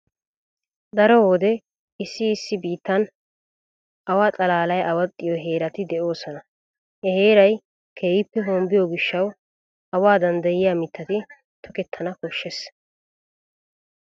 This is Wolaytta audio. Daro wode issi issi biittan awa xalaaly awaxxiyo heerati de'oosona. He heeray keehi hombbiyo gishshawu awaa danddayiya mittati tokettana koshshees.